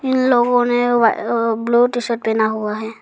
इन लोगों ने वा अ ब्लू टी शर्ट पहना हुआ है।